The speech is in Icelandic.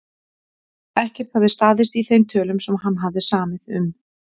Ekkert hafði staðist í þeim tölum sem hann hafði samið um.